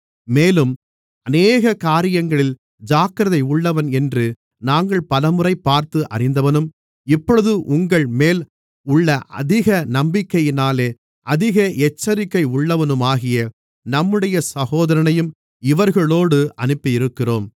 மேலும் அநேக காரியங்களில் ஜாக்கிரதையுள்ளவன் என்று நாங்கள் பலமுறை பார்த்து அறிந்தவனும் இப்பொழுது உங்கள்மேல் உள்ள அதிக நம்பிக்கையினாலே அதிக எச்சரிக்கையுள்ளவனுமாகிய நம்முடைய சகோதரனையும் இவர்களோடு அனுப்பியிருக்கிறோம்